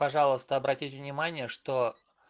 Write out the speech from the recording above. пожалуйста обратите внимание что